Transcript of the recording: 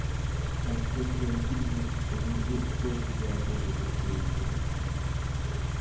а кто тебя учить будет скажи мне кто тебя будет учить объясни